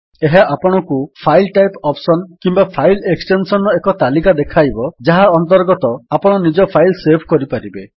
ଏହା ଆପଣଙ୍କୁ file type option କିମ୍ୱା ଫାଇଲ୍ ଏକ୍ସଟେନ୍ସନ୍ ର ଏକ ତାଲିକା ଦେଖାଇବ ଯାହା ଅନ୍ତର୍ଗତ ଆପଣ ନିଜ ଫାଇଲ୍ ସେଭ୍ କରିପାରିବେ